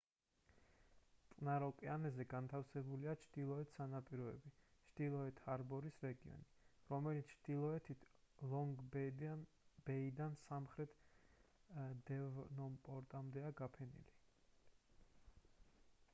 წყნარ ოკეანეზე განთავსებულია ჩრდილოეთ სანაპიროები ჩრდილოეთ ჰარბორის რეგიონი რომლებიც ჩრდილოეთით ლონგ-ბეიდან სამხრეთით დევონპორტამდეა განფენილი